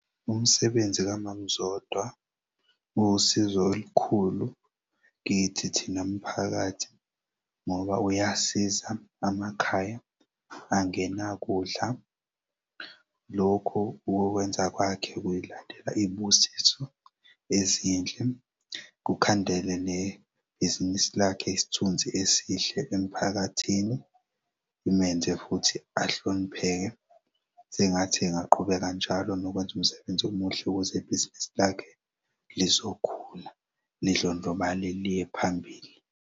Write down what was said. Umsebenzi kaMam'Zodwa uwusizo olukhulu kithi thina mphakathi ngoba uyasiza amakhaya angenakudla. Lokho ukukwenza kwakhe uyilandela iy'busiso ezinhle, kukhandele nebhizinisi lakhe isithunzi esihle emphakathini, imenze futhi ahlonipheke. Sengathi engaqhubeka njalo nokwenz'umsebenzi omuhle kwezebhizinisi lakhe lizokhula, lidlondlobale liye phambili.